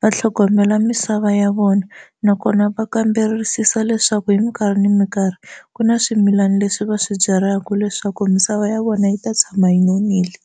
va tlhogomela misava ya vona nakona va kamberisisa hileswaku hi mikarhi na mikarhi ku na swimilana leswi va swi byalaka leswaku misava ya vona yi ta tshama yi nonile.